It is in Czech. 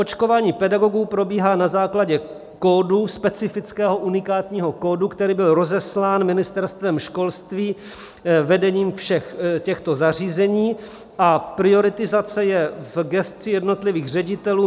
Očkování pedagogů probíhá na základě kódu, specifického unikátního kódu, který byl rozeslán Ministerstvem školství, vedením všech těchto zařízení a prioritizace je v gesci jednotlivých ředitelů.